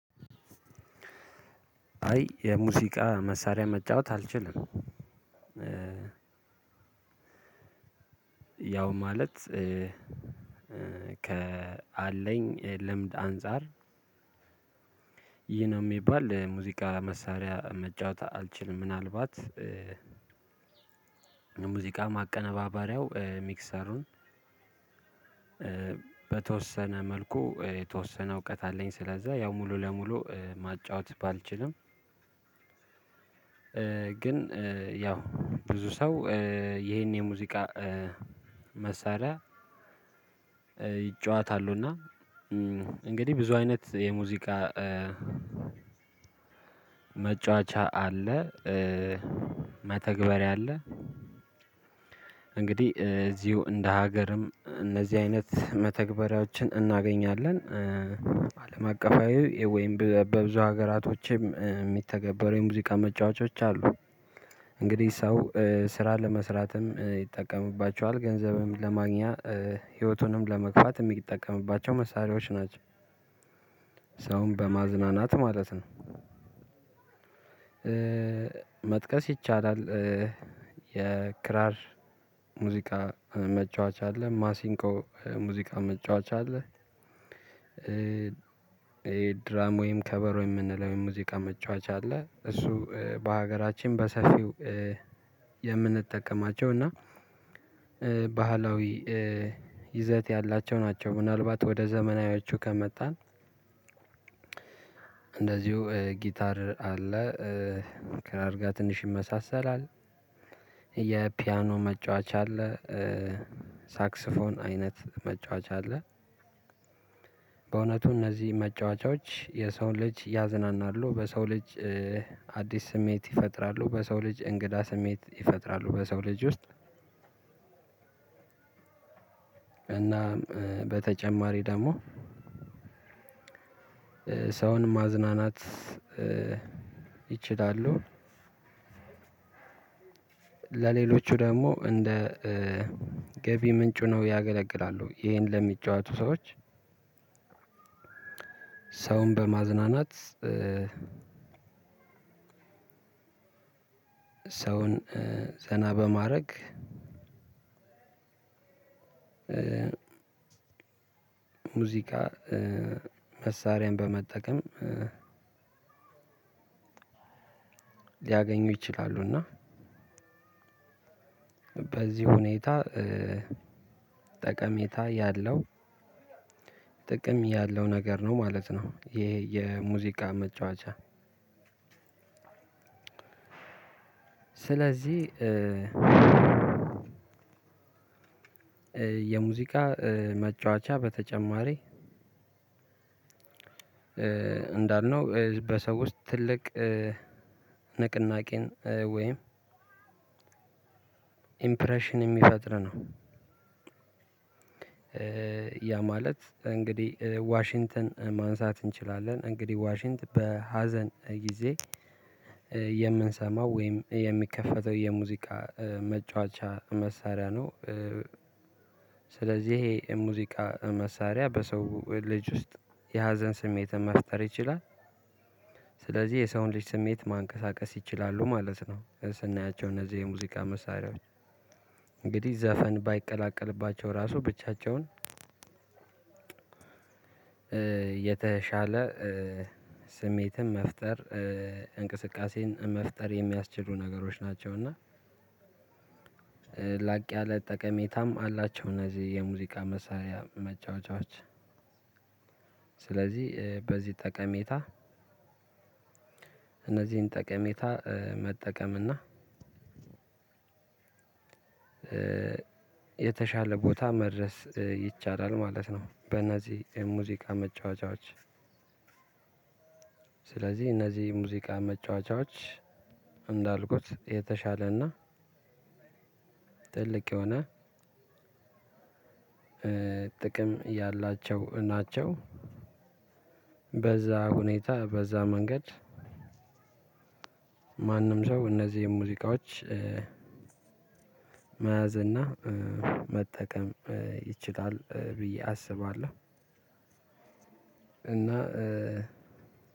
አይ የሙዚቃ መሳሪያ መጫወት አልችልም። ያው ማለት ከአለኝ ልምድ አንፃር ይህ ነው ሚባል ሙዚቃ መሳሪያ መጫወት አልችልም። ምናልባት የሙዚቃ ማቀነባበሪያው ሚክሰሩን በተወሰነ መልኩ የተወሰነ እውቀት አለኝ ስለዛ ያው ሙሉ ለሙሉ ማጫወት ባልችልም። ግን ያው ብዙ ሰው ይሄን የሙዚቃ መሳሪያ ይጫወታሉ። እና እንግዲህ ብዙ አይነት የሙዚቃ መጫወቻ አለ መተግበሪያ አለ እንግዲህ እዚሁ እንደ ሀገርም እነዚህ አይነት መተግበሪያዎችን እናገኛለን። አለም አቀፋዊ ወይም በብዙ ሀገራቶችም የሚተገበሩ የሙዚቃ መጫወቾች አሉ። እንግዲህ ሰው ስራ ለመስራትም ይጠቀምባቸዋል ገንዘብም ለማግኛ ህይወቱንም ለመግፋት የሚጠቀምባቸው መሳሪያዎች ናቸው። ሰውን በማዝናናት ማለት ነው፤ መጥቀስ ይቻላል። የክራር ሙዚቃ መጫወቻ አለ፣ ማሲንቆ ሙዚቃ መጫወቻ አለ ድራም ወይም ከበሮ የምንለው ሙዚቃ መጫወቻ አለ። እሱ በሀገራችን በሰፊው የምንጠቀማቸው እና ባህላዊ ይዘት ያላቸው ናቸው። ምናልባት ወደ ዘመናዊያቸው ከመጣን። እንደዚሁ ጊታር አለ ከክራር ጋር ትንሽ ይመሳሰላል። የፒያኖ መጫወቻ አለ ሳክስፎን አይነት መጫወቻ አለ። በእውነቱ እነዚህ መጫወቻዎች የሰውን ልጅ ያዝናናሉ በሰው ልጅ አዲስ ስሜት ይፈጥራሉ በሰው ልጅ እንግዳ ስሜት ይፈጥራሉ በሰው ልጅ ውስጥ። እና በተጨማሪ ደግሞ ሰውን ማዝናናት ይችላሉ። ለሌሎቹ ደግሞ እንደ ገቢ ምንጩ ሆነው ያገለግላሉ ይሄን ለሚጫወቱ ሰዎች። ሰውን በማዝናናት ሰውን ዘና በማድረግ ሙዚቃ መሳሪያን በመጠቀም ሊያገኙ ይችላሉ። እና በዚህ ሁኔታ ጠቀሜታ ያለው ጥቅም ያለው ነገር ነው ማለት ነው። ይሄ የሙዚቃ መጫወቻ ስለዚህ የሙዚቃ መጫወቻ በተጨማሪ እንዳልነው በሰው ውስጥ ትልቅ ንቅናቄን ወይም ኢምፕሬሽን የሚፈጥር ነው። ያ ማለት እንግዲህ ዋሽንተን ማንሳት እንችላለን እንግዲህ ዋሽንተን በሀዘን ጊዜ የምንሰማው ወይም የሚከፈተው የሙዚቃ መጫወቻ መሳሪያ ነው። ስለዚህ ይሄ ሙዚቃ መሳሪያ በሰው ልጅ ውስጥ የሀዘን ስሜትን መፍጠር ይችላል። ስለዚህ የሰውን ልጅ ስሜት ማንቀሳቀስ ይችላሉ ማለት ነው። ስናያቸው እነዚህ የሙዚቃ መሳሪያዎች እንግዲህ ዘፈን ባይቀላቀልባቸው ራሱ ብቻቸውን የተሻለ ስሜትን መፍጠር እንቅስቃሴን መፍጠር የሚያስችሉ ነገሮች ናቸው። እና ላቅ ያለ ጠቀሜታም አላቸው። እነዚህ የሙዚቃ መሳሪያ መጫወቻዎች ስለዚህ በዚህ ጠቀሜታ እነዚህን ጠቀሜታ መጠቀም እና የተሻለ ቦታ መድረስ ይቻላል ማለት ነው። በእነዚህ ሙዚቃ መጫወቻዎች ስለዚህ እነዚህ ሙዚቃ መጫወቻዎች እንዳልኩት የተሻለና ጥልቅ የሆነ ጥቅም ያላቸው ናቸው። በዛ ሁኔታ በዛ መንገድ ማንም ሰው እነዚህን ሙዚቃዎች መያዝ እና መጠቀም ይችላል ብዬ አስባለሁ። እና